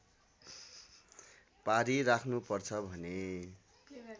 पारी राख्नुपर्छ भने